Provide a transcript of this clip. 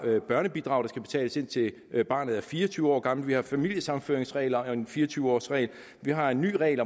børnebidrag der skal betales indtil barnet er fire og tyve år gammelt vi har familiesammenføringsregler og fire og tyve årsregel vi har en ny regel